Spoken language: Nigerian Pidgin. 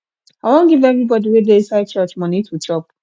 i wan give everybody wey dey inside church money to chop